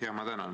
Ma tänan!